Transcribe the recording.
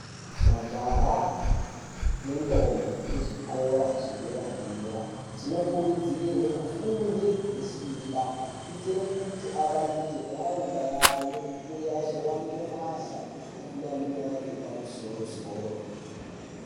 Majaha nendombi dzezvikora zvederedera dzinokurudzirwe kufunda nesimba kuitire kuti avandudzire nharaunda yavo uye vazowana mabasa ari nani epamusorosoro.